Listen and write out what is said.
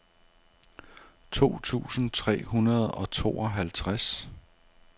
to tusind tre hundrede og tooghalvtreds